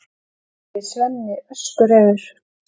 segir Svenni öskureiður.